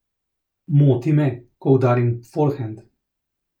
Moti me, ko udarim forhend.